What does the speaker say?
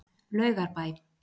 Laugarbæ